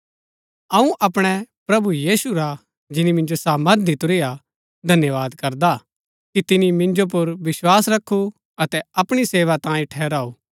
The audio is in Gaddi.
अऊँ अपणै प्रभु यीशु रा जिनी मिन्जो सामर्थ दितुरी हा धन्यवाद करदा कि तिनी मिन्जो पुर विस्वास रखु अतै अपणी सेवा तांई ठरऊ